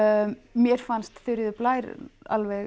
mér fannst Þuríður Blær alveg